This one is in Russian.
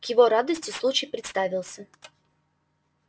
к его радости случай представился